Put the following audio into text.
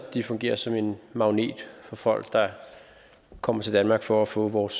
de fungerer som en magnet for folk der kommer til danmark for at få vores